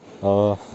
салют включи флай